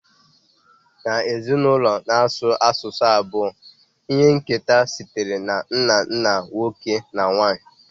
N'ezinụlọ na-asụ asụsụ abụọ, ihe nketa sitere na nna nna nwoke na nwanyị